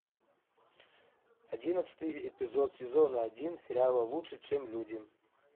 одиннадцатый эпизод сезона один сериала лучше чем люди